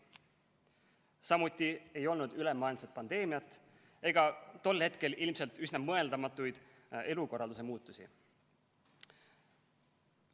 Samuti ei olnud ülemaailmset pandeemiat ega tol hetkel ilmselt üsna mõeldamatuid elukorralduse muutusi.